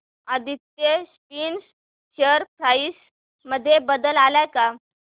Aditya spinners share price मध्ये बदल आलाय का